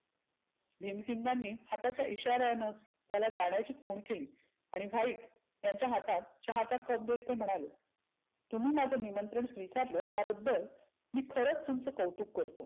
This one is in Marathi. भिमसिंगानी हाताच्या इशार्यानं त्याला जाण्याची खुन दिली. आणि व्हाईटच्या हातात चहाचा कप देत ते म्हणाले. तुम्ही माझं निमंत्रन स्विकारलं त्याबद्दल मी खरच तुमचं कौतुक करतो.